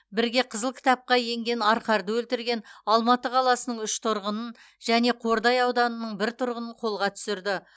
бірге қызыл кітапқа енген арқарды өлтірген алматы қаласының үш тұрғынын және қордай ауданының бір тұрғынын қолға түсірді